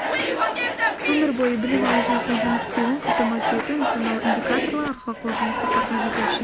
өмір бойы білім алу жүйесінің жұмыс істеуін қамтамасыз ету нысаналы индикаторлар алға қойылған мақсаттарға жету үшін